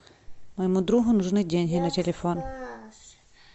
моему другу нужны деньги на телефон